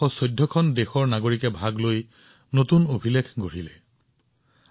১১৪ খন দেশৰ নাগৰিকে ইয়াত অংশগ্ৰহণ কৰিছিল আৰু এক নতুন বিশ্ব অভিলেখৰ সৃষ্টি হৈছিল